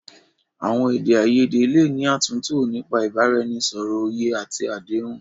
Àwọn èdè àìyedè lè ní àtúntò nípa ìbánisọ̀rọ̀, òye àti àdéhùn.